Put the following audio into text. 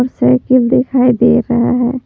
Cycle दिखाई दे रहा है।